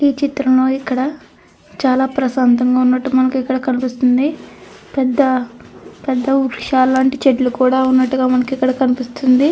ఈ చిత్రంలో ఇక్కడ చాలా ప్రశాంతంగా ఉన్నట్టు మనకి ఇక్కడ కనిపిస్తుంది. పెద్ద పెద్ద ఉయ్యాల లాంటి చెట్లు కూడా ఉన్నట్టుగా కూడా మనకు ఇక్కడ కనిపిస్తుంది.